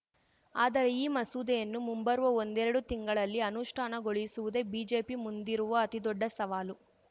ಆದರೆ ಈ ಮಸೂದೆಯನ್ನು ಮುಂಬರುವ ಒಂದೆರಡು ತಿಂಗಳಲ್ಲಿ ಅನುಷ್ಠಾನಗೊಳಿಸುವುದೇ ಬಿಜೆಪಿ ಮುಂದಿರುವ ಅತಿದೊಡ್ಡ ಸವಾಲು